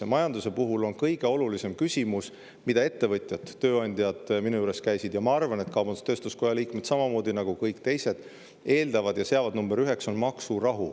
Majanduse puhul on kõige olulisem küsimus maksurahu – seda seadsid number üheks ettevõtjad, tööandjad, kes minu juures käisid, ja ma arvan, et ka kaubandus-tööstuskoja liikmed ja kõik teised sedasama.